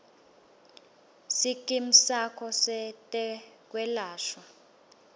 sikimu sakho setekwelashwa